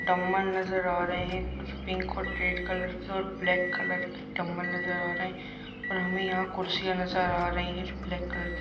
dumbbell नज़र आ रहे हैं कुछ पिंक और रेड कलर के और ब्लैक कलर के डम्बल नज़र आ रहे हैं और हमें यहाँ कुर्सियाँ नज़र आ रही हैं जो ब्लैक कलर की--